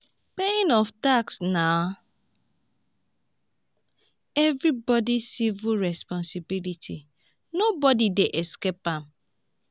paying of tax na everybody civic responsibility nobody dey escape am